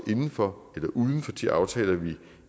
inden for eller uden for de aftaler vi